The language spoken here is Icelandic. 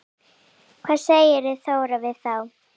Hvað segir Þóra við þá?